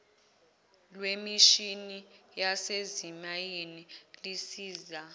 lemishini yasezimayini lisiza